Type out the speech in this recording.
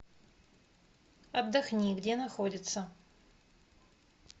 отдохни где находится